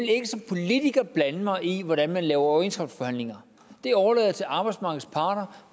ikke som politiker blande mig i hvordan man fører overenskomstforhandlinger det overlader jeg til arbejdsmarkedets parter